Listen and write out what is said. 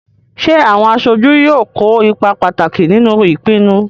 Ṣé àwọn aṣojú yóò kó ipa pàtàkì nínú ìpinnu?